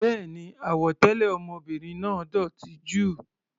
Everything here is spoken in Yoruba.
Béèni, àwọ̀ tẹlẹ ọmọbìnrin náà dótì jù.